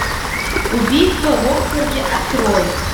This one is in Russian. убийство в оксфорде открой